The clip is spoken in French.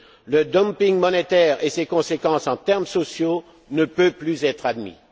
Le dumping monétaire et ses conséquences en termes sociaux ne peuvent plus être admis.